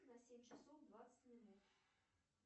на семь часов двадцать минут